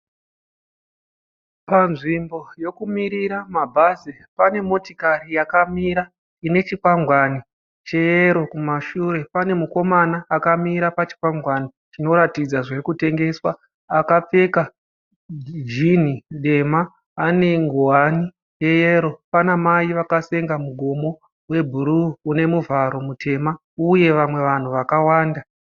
Panzvimbo yekumirira mabhazi, pane motokari yakamira ine chikwangwani cheyero kumashure. Pane mukomana akamira pachikwangwani chinoratidza zvirikutengeswa. Akapfeka jini dema anenguwani yeyero. Pana Mai vakasenga mugomo webhuruwu une muchato mutema. Uye vanhu vakawanda.